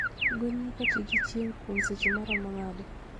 Gwen nyaka ti gi chieng' kuom seche maromo nade?